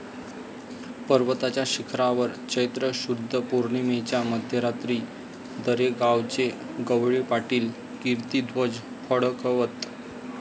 पर्वताच्या शिखरावर चैत्र शुद्ध पौर्णिमेच्या मध्यरात्री दरेगावचे गवळी पाटील कीर्तिध्वज फडकवत.